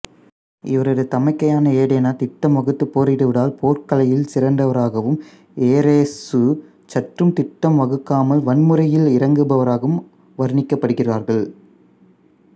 இவரது தமக்கையான ஏதெனா திட்டம் வகுத்து போரிடுவதால் போர்க்கலையில் சிறந்தவராகவும் எரெசு சற்றும் திட்டம் வகுக்காமல் வன்முறையில் இறங்குபவராகவும் வர்ணிக்கப்படுகிறார்கள்